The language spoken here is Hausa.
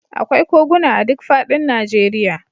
Akwai koguna a duk fadin Najeriya.